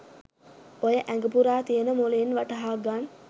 ඔය ඇග පුරා තියෙන මොළෙන් වටහා ගන්